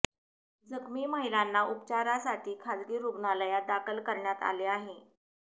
जखमी महिलांना उपचारासाठी खाजगी रुग्णालयात दाखल करण्यात आले आहे